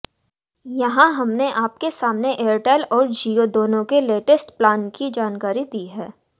यहां हमने आपके सामने एयरटेल और जियो दोनों के लेटेस्ट प्लान की जानकारी दी है